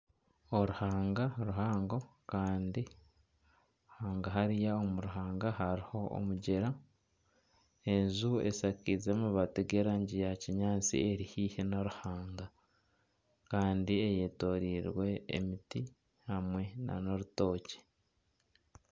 Oruhanga ruhango Kandi hangahari hariho omugyera enju eshakiize amabaati g'erangi ya kinyatsi eri haihi n'oruhanga Kandi eyetoreirwe emiti hamwe nana orutookye.